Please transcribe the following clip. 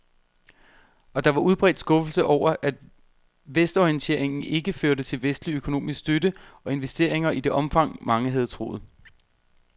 Og der var udbredt skuffelse over, at vestorienteringen ikke førte til vestlig økonomisk støtte og investeringer i det omfang, mange havde troet.